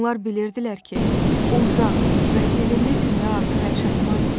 Onlar bilirdilər ki, o uzaq və sevimli dünya artıq əlçatmazdı.